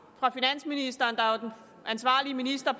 fra finansministeren der jo er den ansvarlige minister